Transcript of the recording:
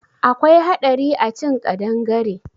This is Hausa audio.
Akwai haɗari a cin ƙadangare.